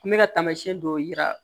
N bɛ ka taamasiyɛn dɔw jira